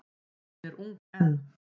Hún er ung enn.